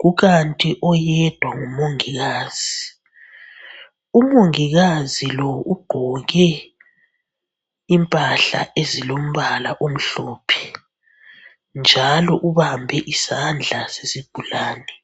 kukanti oyedwa ngumongikazi. Umongikazi lo ugqoke impahla ezilombala omhlophe njalo ubambe isandla sesigulane.